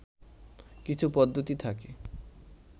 কিছু পদ্ধতি থাকে